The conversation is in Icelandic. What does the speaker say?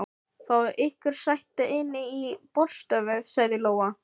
Fáið ykkur sæti inni í borðstofu, sagði Lóa.